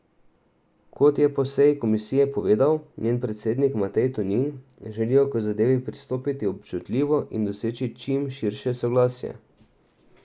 Kot je po seji komisije povedal njen predsednik Matej Tonin, želijo k zadevi pristopiti občutljivo in doseči čim širše soglasje.